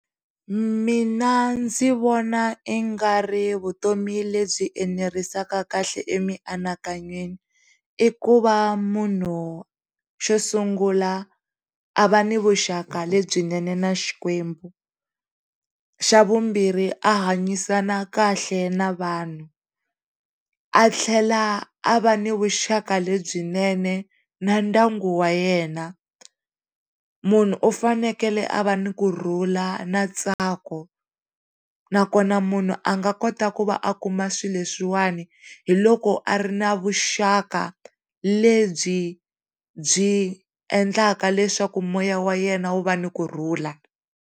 Mina ndzi vona i nga ri vutomi lebyi enerisaka kahle emianakanyweni i ku va munhu xo sungula a va ni vuxaka lebyinene na xikwembu, xa vumbirhi a hanyisana kahle na vanhu a tlhela a va ni vuxaka lebyinene na ndyangu wa yena, munhu u fanekele a va ni kurhula na ntsako na kona munhu a nga kota ku va a kuma swilo leswiwani hiloko a ri na vuxaka lebyi byi endlaka leswaku moya wa yena wu va ni kurhula.